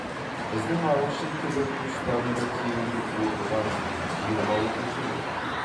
біздің ағылшын тілі курстарында тегін оқыған жиырма оқушы болды